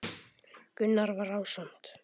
Gunnar var ásamt